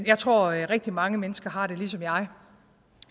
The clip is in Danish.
jeg tror at rigtig mange mennesker har det ligesom jeg